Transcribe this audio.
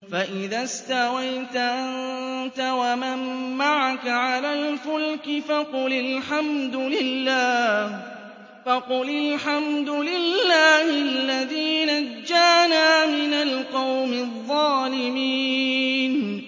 فَإِذَا اسْتَوَيْتَ أَنتَ وَمَن مَّعَكَ عَلَى الْفُلْكِ فَقُلِ الْحَمْدُ لِلَّهِ الَّذِي نَجَّانَا مِنَ الْقَوْمِ الظَّالِمِينَ